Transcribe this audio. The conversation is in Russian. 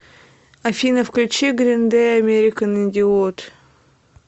афина включи грин дэй американ идиот